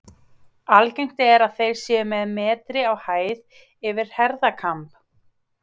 Algengt er að þeir séu um metri á hæð yfir herðakamb.